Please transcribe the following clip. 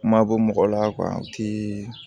Mabɔ mɔgɔ la u ti